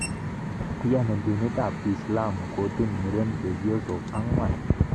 Iyani dinit ab kiislamu Kotun muren chebyosok angwan